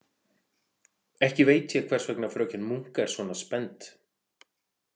Ekki veit hún hvers vegna fröken Munk er svona spennt.